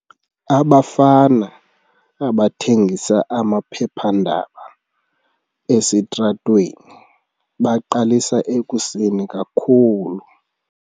Abafana abathengisa amaphephandaba esitratweni baqalisa ekuseni kakhulu.